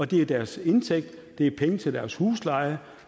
det er deres indtægt det er penge til deres husleje